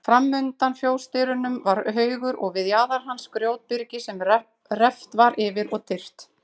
Framundan fjósdyrum var haugur og við jaðar hans grjótbyrgi sem reft var yfir og tyrft.